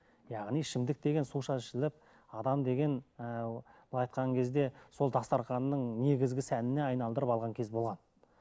яғни ішімдік деген суша ішіліп адам деген ііі былай айтқан кезде сол дастарханның негізгі сәніне айналдырып алған кез болған